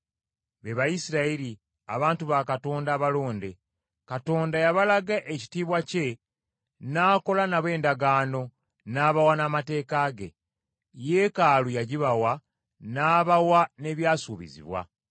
be Bayisirayiri, abantu ba Katonda abalonde. Katonda yabalaga ekitiibwa kye, n’akola nabo endagaano, n’abawa n’amateeka ge. Yeekaalu yagibawa, n’abawa n’ebyasuubizibwa.